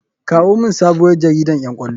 Kawo mini sabuwar jaridan ƴan ƙwallo.